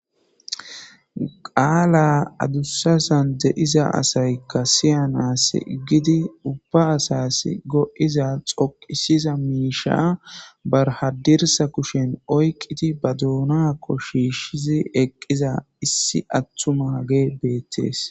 Qala adusane'iza asayka siyanas gigidi ubba asasi go'iza dhoqisiza misha b hadira kushan oyqidi ba dunankko shishizi eqiza issi atumagey betes